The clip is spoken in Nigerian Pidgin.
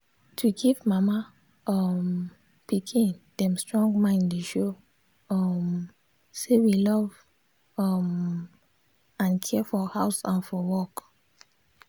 to give mama um pikin them strong mind dey show um say we love um and care for house and for work.